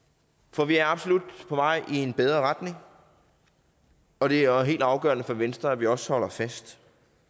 for vi er absolut på vej i en bedre retning og det er jo helt afgørende for venstre at vi også holder fast